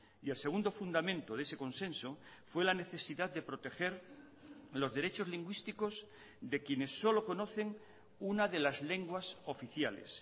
y el segundo fundamento de ese consenso fue la necesidad de proteger los derechos lingüísticos de quienes solo conocen una de las lenguas oficiales